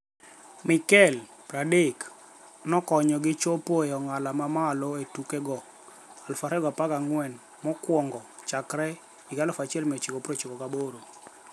Mikel, 30, nokonyogi chopo e ong'ala ma malo e tukego 2014 mokwongo chakre 1998.